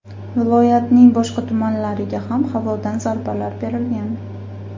Viloyatning boshqa tumanlariga ham havodan zarbalar berilgan.